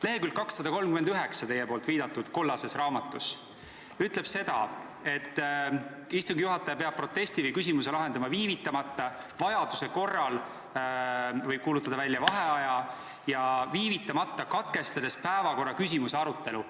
Lehekülg 239 teie viidatud kollases raamatus ütleb seda, et istungi juhataja peab protesti või küsimuse lahendama viivitamata – vajaduse korral võib ta kuulutada välja ka vaheaja –, katkestades päevakorraküsimuse arutelu.